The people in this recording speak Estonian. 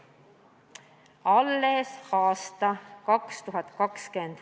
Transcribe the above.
Alles 2020. aasta lõpuks!